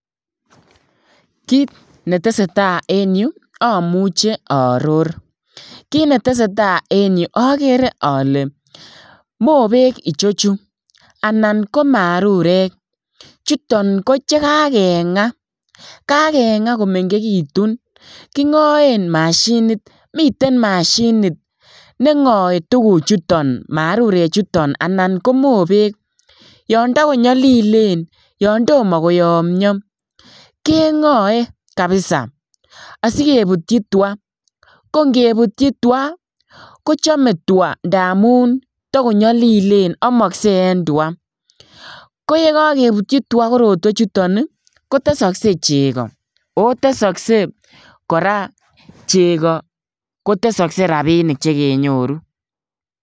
Kit netesee taa en yu omuche ooror, kit netesee taa en yu okere ole mobek ichechu anan ko marurek chuton koche kagengaa, kagengaa komengekitun kingoen mashinit, miten mashinit nengoe tuguchuton marurechuton anan ko mobek yondo konyolilen yon tomo koyomio kengoe kabisa asikebutchi twaa, kongebutchi twaa kochome twaa ndamun tokonyolilen omoksee en twaa, koyekokebutchi twaa korotwechuton ii kotesokse cheko , oo tesokse cheko koraa kotesokse rabinik chekenyoru.